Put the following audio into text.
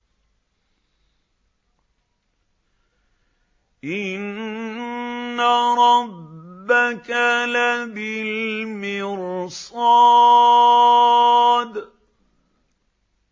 إِنَّ رَبَّكَ لَبِالْمِرْصَادِ